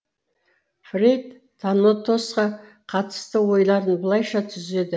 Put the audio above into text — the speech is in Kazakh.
фрейд танотосқа қатысты ойларын былайша түзеді